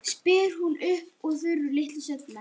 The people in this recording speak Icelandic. spyr hún upp úr þurru litlu seinna.